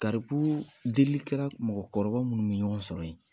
Karibu delikɛla ni mɔgɔkɔrɔba minnu bɛ ɲɔgɔn sɔrɔ yen.